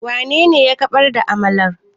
wanene ya barar da amalar?